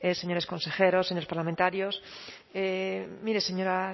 señores consejeros señores parlamentarios mire señora